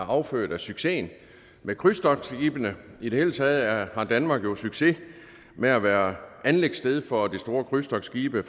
er affødt af succesen med krydstogtskibene i det hele taget har danmark jo succes med at være anløbssted for de store krydstogtskibe